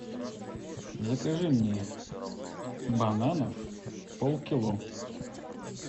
закажи мне бананов полкило